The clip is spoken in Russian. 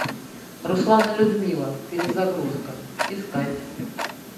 руслан и людмила перезагрузка искать